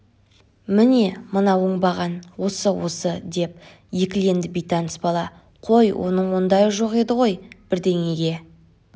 міне мына оңбаған осы осы деп екіленді бейтаныс бала қой оның ондайы жоқ еді ғой бірдеңеге